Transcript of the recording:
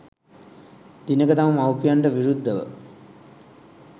දිනක තම මවුපියන්ට විරුද්ධව